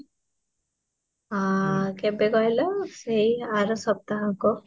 ଆଃ କେଭେ କହିଲ, ଏଇ ଆର ସପ୍ତାହ କହ